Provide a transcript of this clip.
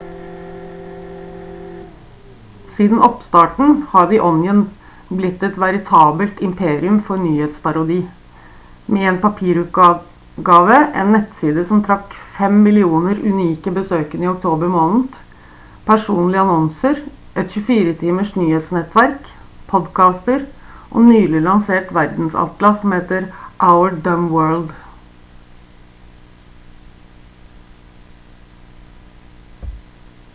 siden oppstarten har the onion blitt et veritabelt imperium for nyhetsparodi med en papirutgave en nettside som trakk 5 000 000 unike besøkende i oktober måned personlige annonser et 24 timers nyhetsnettverk podkaster og et nylig lansert verdensatlas som heter our dumb world